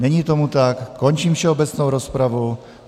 Není tomu tak, končím všeobecnou rozpravu.